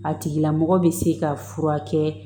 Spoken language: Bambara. A tigila mɔgɔ bɛ se ka furakɛ